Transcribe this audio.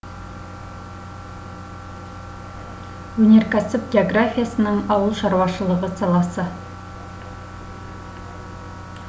өнеркәсіп географиясының ауыл шаруашылығы саласы